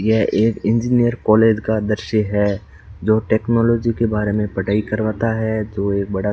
यह एक engineer college का दृश्य है जो टेक्नोलॉजी के बारे में पढ़ाई करवाता है जो ये बड़ा --